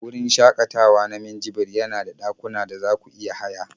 Wurin shakatawa na Minjibir yana da dakuna da za ku iya haya